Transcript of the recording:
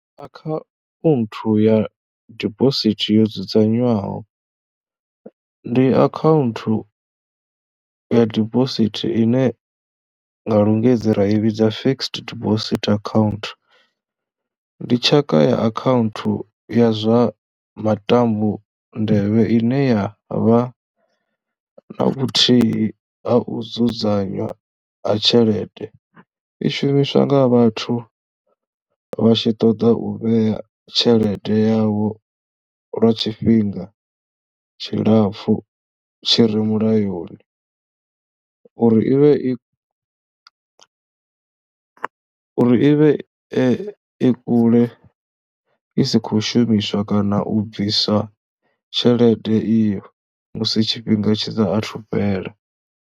Akhaunthu ya dibosithi yo dzudzanywaho ndi akhaunthu ya dibosithi ine nga lungisi ra i vhidza Fixed Deposit Account. Ndi tshaka ya akhaunthu ya zwa matambo nḓevhe ine ya vha na vhuthihi ha u dzudzanywa ha tshelede, i shumiswa nga vhathu vha tshi ṱoḓa u vhea tshelede yavho lwa tshifhinga tshilapfhu tshi re mulayoni uri i vhe i i vhe i i kule i si khou shumiswa kana u bviswa tshelede iyo musi tshifhinga tshi saathu fhela.